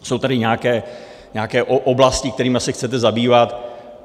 Jsou tady nějaké oblasti, kterými se chcete zabývat.